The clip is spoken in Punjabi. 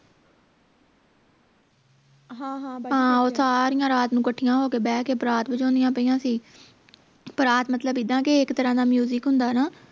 ਹਾਂ ਉਹ ਸਾਰੀਆਂ ਰਾਤ ਨੂੰ ਕੱਠਿਆਂ ਹੋ ਕੇ ਪਰਾਤ ਵਜਾਉਂਦਿਆਂ ਪਈਆਂ ਸੀ ਪਰਾਤ ਮਤਲਬ ਇੱਦਾਂ ਕੇ ਇਕ ਤਰ੍ਹਾਂ ਦਾ music ਹੁੰਦਾ ਨਾ